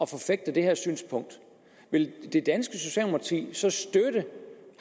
forfægter det her synspunkt vil det danske socialdemokrati så støtte